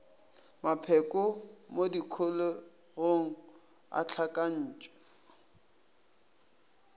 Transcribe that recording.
mapheko mo dikholegong a hlakantšhwa